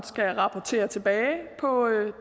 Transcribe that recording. skal rapportere tilbage på